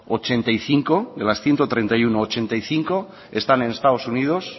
ochenta y cinco de las ciento treinta y uno ochenta y cinco están en estados unidos